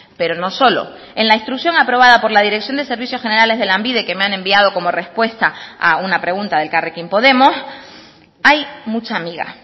pero no solo en la instrucción aprobada por la dirección de servicios generales de lanbide que me han enviado como respuesta a una pregunta de elkarrekin podemos hay mucha miga